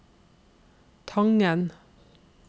Tangen